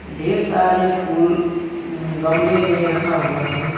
ढेर सारे फूल गमले में रखा हुआ है।